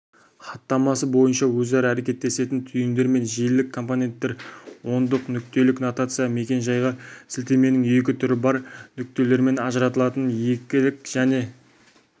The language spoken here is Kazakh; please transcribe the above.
хаттамасы бойынша өзара әрекеттесетін түйіндер мен желілік компоненттер ондық-нүктелік нотация мекен-жайға сілтеменің екі түрі бар нүктелермен ажыратылатын екілік және